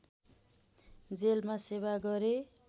जेलमा सेवा गरे